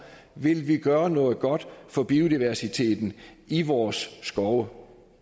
vi vil gøre noget godt for biodiversiteten i vores skove